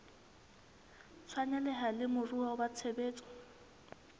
tshwaneleha le moruo wa tshebetso